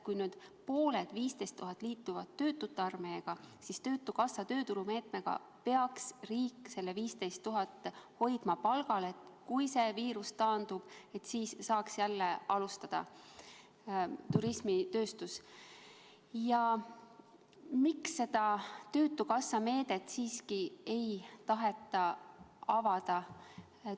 Kui nüüd pooled, 15 000 inimest, liituvad töötute armeega, siis töötukassa tööturumeetmega peaks riik need teised 15 000 palgal hoidma, nii et kui viirus taandub, saaks turismitööstus jälle alustada Miks seda töötukassa meedet siiski ei taheta avada?